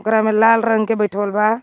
ओकरा में लाल रंग के बइठवल बा.